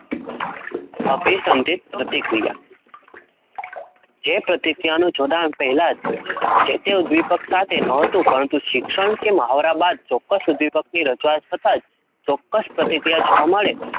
પ્રતિક્રિયા જે પ્રતિક્રિયા નો જોડાણ, પહેલા જ જે તે દીપક સાથે નોતું પરંતું સિક્ષણ, કે મહોરા બાદ ચોક્કસ દિપક રજૂઆત થતાં ચોક્કસ પ્રતિક્રિયા જોવા મળે એવી અભી સાંધિત પ્રતિક્રિયા,